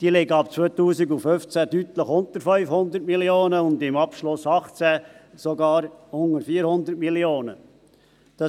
Diese liegen ab 2015 deutlich unter 500 Mio. Franken und im Abschluss 2018 sogar unter 400 Mio. Franken.